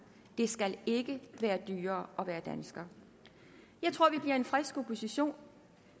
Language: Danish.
det skal ikke være dyrere at være dansker jeg tror at vi bliver en frisk opposition